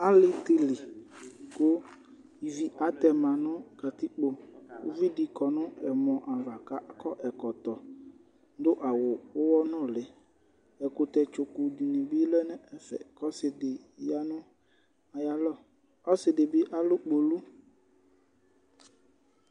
Alì di li, ku ivi atɛma nu katikpo uvi di kɔ nu ɛmɔ̃ ava k'akɔ ɛkɔtɔ, dú awù uwɔ nùlí ɛkutɛ tsoku di bi lɛ n'ɛfɛ k'ɔsi di ya nu ayalɔ, ɔsi di bi alũ gbolò